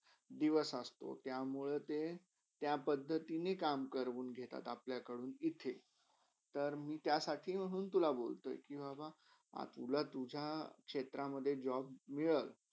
दिवस असतो त्यामुळे त्या पदधीतिणी काम करून घेतात आपल्याकडून इथे तर मी त्यासाठी म्हणून तुला बोलतो हय. अ तुला तुझ्या क्षेत्रामधे job मिरळ.